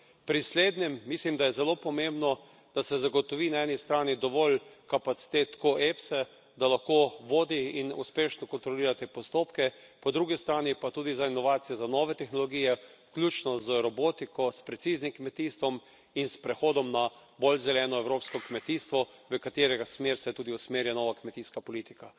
Pri slednjem mislim, da je zelo pomembno, da se zagotovi na eni strani dovolj kapacitet Efse, da lahko vodi in uspešno kontrolira te postopke, po drugi strani pa tudi za inovacije za nove tehnologije, vključno z robotiko, s preciznim kmetijstvom in s prehodom na bolj zeleno evropsko kmetijstvo, v katerega smer se tudi usmerja nova kmetijska politika.